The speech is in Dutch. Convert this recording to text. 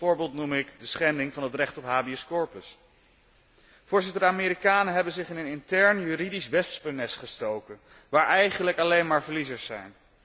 Als voorbeeld noem ik de schending van het recht op habeas corpus. De Amerikanen hebben zich in een intern juridisch wespennest gestoken, waar eigenlijk alleen maar verliezers zijn.